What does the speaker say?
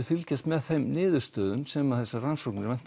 fylgjast með þeim niðurstöðum sem þessar rannsóknir